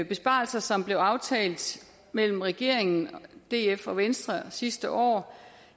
besparelser som blev aftalt mellem regeringen df og venstre sidste år